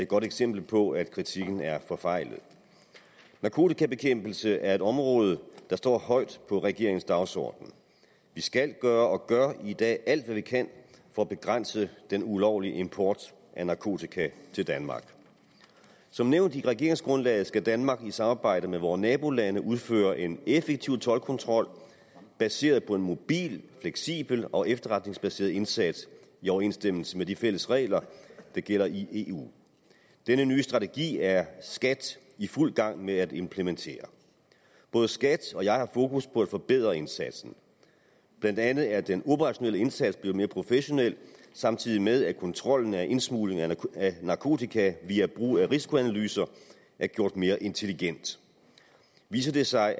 godt eksempel på at kritikken er forfejlet narkotikabekæmpelse er et område der står højt på regeringens dagsorden vi skal gøre og gør i dag alt hvad vi kan for at begrænse den ulovlige import af narkotika til danmark som nævnt i regeringsgrundlaget skal danmark i samarbejde med vore nabolande udføre en effektiv toldkontrol baseret på en mobil fleksibel og efterretningsbaseret indsats i overensstemmelse med de fælles regler der gælder i eu denne nye strategi er skat i fuld gang med at implementere både skat og jeg har fokus på at forbedre indsatsen blandt andet er den operationelle indsats blevet mere professionel samtidig med at kontrollen af indsmuglingen af narkotika via brug af risikoanalyser er gjort mere intelligent viser det sig at